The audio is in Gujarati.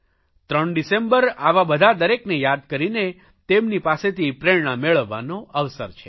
ત્રણ ડિસેમ્બર આવા બધા દરેકને યાદ કરીને તેમની પાસેથી પ્રેરણા મેળવવાનો અવસર છે